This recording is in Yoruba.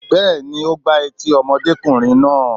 Bẹ́ẹ̀ni, ó gbá etí ọmọdékùnrin náà.